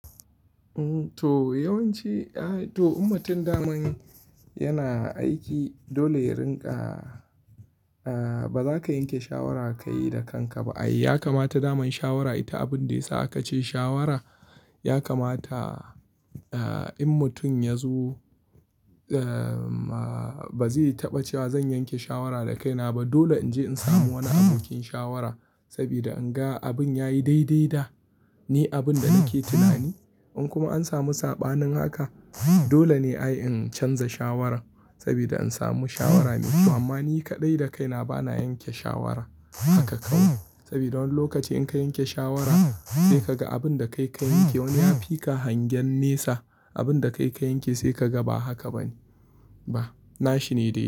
To yawanci, to mutum daman yana aiki dole ya rinƙa, ba za ka yanke shawara ka yi da kanka ba. Ya kamata daman shawara ita abin da ya sa ka ce shawara. Ya kamata in mutum ya zo ba zai taɓa cewa zan yanke shawara da kaina ba. Dole in je in samu wani abokin shawara saboda in ga abin ya yi daidai da ni abin da nake tunani. In kuma an samu saɓanin haka dole ne ai in canza shawarar saboda in samu shawara mai kyau. Amma ni kaɗai da kaina bana yanke shawara haka kawai. Saboda wani lokaci in ka yanke shawara sai ka ga abin da kai ka yanke wani ya fi ka hangen nesa abin da kai ka yanke sai ka ga ba haka ba ne. Ba, na shi ne dai dai.